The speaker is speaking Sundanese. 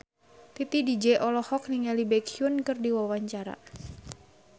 Titi DJ olohok ningali Baekhyun keur diwawancara